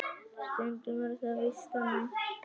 Stundum er það víst þannig.